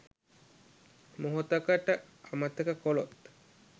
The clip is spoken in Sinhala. මොහොතකට අමතක කළොත්